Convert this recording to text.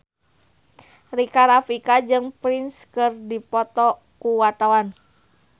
Rika Rafika jeung Prince keur dipoto ku wartawan